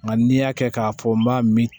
Nka n'i y'a kɛ k'a fɔ n b'a min